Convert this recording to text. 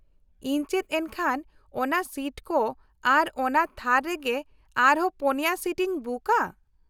ᱤᱧ ᱪᱮᱫ ᱮᱱᱠᱷᱟᱱ ᱚᱱᱟ ᱥᱤᱴ ᱠᱚ ᱟᱨ ᱚᱱᱟ ᱛᱷᱟᱨ ᱨᱮᱜᱮ ᱟᱨᱦᱚᱸ ᱯᱩᱱᱭᱟᱹ ᱥᱤᱴ ᱤᱧ ᱵᱩᱠᱼᱟ ?